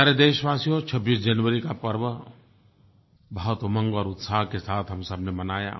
प्यारे देशवासियो 26 जनवरी का पर्व बहुत उमंग और उत्साह के साथ हम सबने मनाया